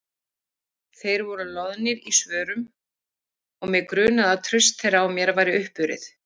Þeir voru loðnir í svörum og mig grunaði að traust þeirra á mér væri uppurið.